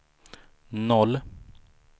noll